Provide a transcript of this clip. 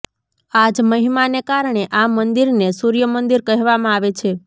આજ મહિમાને કારણે આ મંદિરને સૂર્યમંદિર કહેવામાં આવે છે